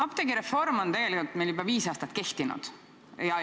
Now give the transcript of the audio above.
Apteegireform on tegelikult meil juba viis aastat kehtinud.